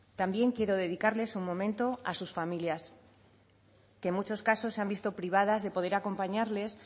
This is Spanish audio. también quiero dedicarles un momento a sus familias que en muchos casos se han visto privadas de poder acompañarles